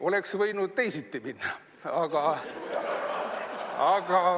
Oleks võinud teisiti minna.